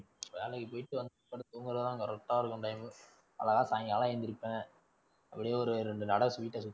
வேலைக்கு போயிட்டு வந்து படுத்து தூங்க தான் correct ஆ இருக்கும் time உ. அழகா சாயங்காலம் எந்திரிப்பேன். அப்படியே ஒரு ரெண்டு நடை வீட்ட சுத்தி